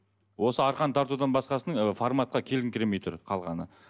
осы арқан тартудан басқасының ы форматқа келіңкіремей тұр қалғаны